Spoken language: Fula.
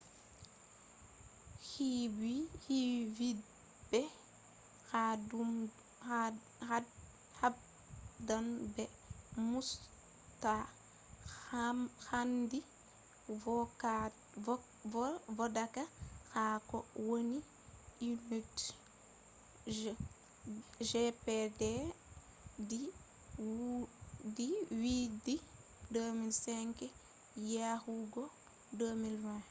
hu vi be habdan be musta hendu vodaka ha ko wani unitje gdp di dubi 2005 yahugo 2020.